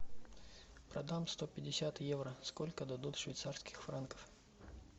продам сто пятьдесят евро сколько дадут швейцарских франков